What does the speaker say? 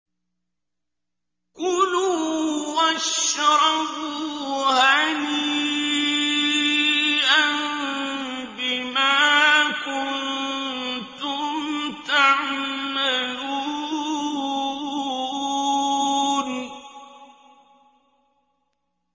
كُلُوا وَاشْرَبُوا هَنِيئًا بِمَا كُنتُمْ تَعْمَلُونَ